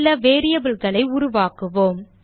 சில variableகளை உருவாக்குவோம்